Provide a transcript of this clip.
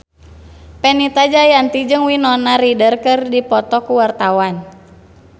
Fenita Jayanti jeung Winona Ryder keur dipoto ku wartawan